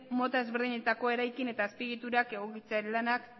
mota ezberdinetako eraikin eta azpiegiturak egokitzearen lanak